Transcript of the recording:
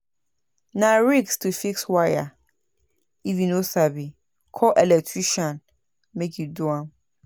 Na risk to fix wire if you no sabi, call electrician make e do am.